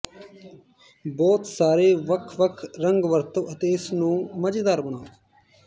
ਬਹੁਤ ਸਾਰੇ ਵੱਖ ਵੱਖ ਰੰਗ ਵਰਤੋ ਅਤੇ ਇਸ ਨੂੰ ਮਜ਼ੇਦਾਰ ਬਣਾਉ